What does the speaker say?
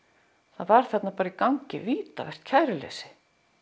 það var þarna bara í gangi vítavert kæruleysi